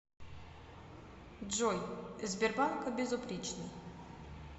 джой сбербанк безупречный